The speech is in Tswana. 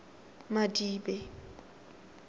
madibe